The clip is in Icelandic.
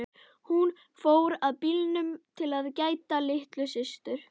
Hún fór að bílnum að gæta að litlu systur.